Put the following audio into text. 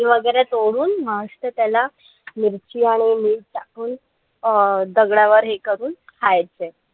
कैरी वगैरे तोडून मस्त त्याला मिरची आणि मीठ टाकून अं दगडावर हे करून खायचे.